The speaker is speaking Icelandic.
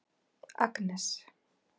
Agnes